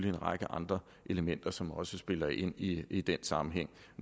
en række andre elementer som også spiller ind i i den sammenhæng